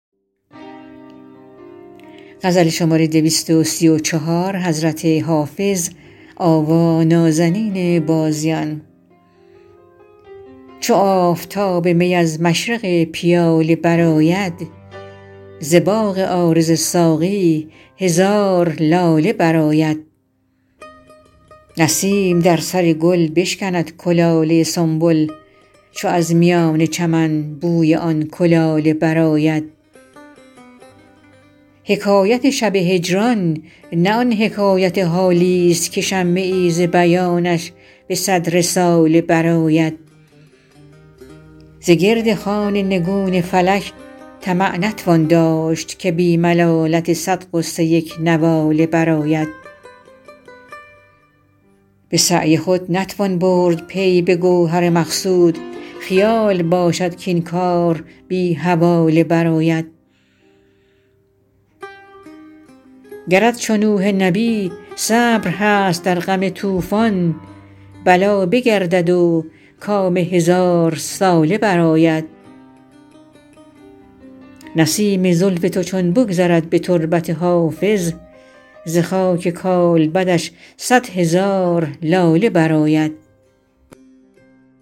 چو آفتاب می از مشرق پیاله برآید ز باغ عارض ساقی هزار لاله برآید نسیم در سر گل بشکند کلاله سنبل چو از میان چمن بوی آن کلاله برآید حکایت شب هجران نه آن حکایت حالیست که شمه ای ز بیانش به صد رساله برآید ز گرد خوان نگون فلک طمع نتوان داشت که بی ملالت صد غصه یک نواله برآید به سعی خود نتوان برد پی به گوهر مقصود خیال باشد کاین کار بی حواله برآید گرت چو نوح نبی صبر هست در غم طوفان بلا بگردد و کام هزارساله برآید نسیم زلف تو چون بگذرد به تربت حافظ ز خاک کالبدش صد هزار لاله برآید